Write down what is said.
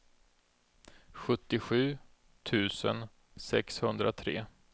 sjuttiosju tusen sexhundratre